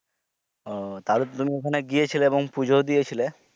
ও তাহলে তুমি তো ওখানে গেছিলে আর পুজো ও দিয়েছিলেন।